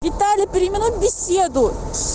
виталя переминуй беседу